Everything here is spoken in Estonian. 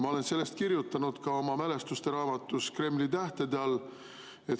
Ma olen sellest kirjutanud ka oma mälestusteraamatus "Kremli tähtede all".